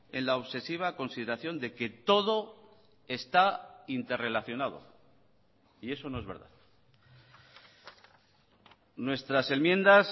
en la obsesiva consideración de que todo está interrelacionado y eso no es verdad nuestras enmiendas